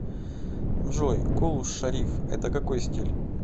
джой кул шариф это какой стиль